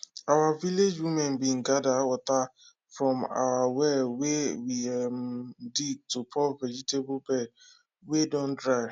our village women bin go gather water from our well wey we um dig to pour vegetable bed wey don dry